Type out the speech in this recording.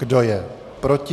Kdo je proti?